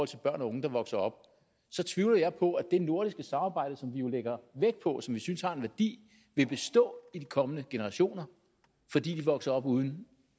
til børn og unge der vokser op så tvivler jeg på at det nordiske samarbejde som vi jo lægger vægt på og som vi synes har en værdi vil bestå i de kommende generationer fordi de vokser op uden